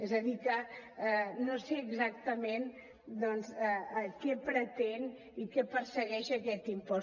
és a dir que no sé exactament doncs què pretén i què persegueix aquest impost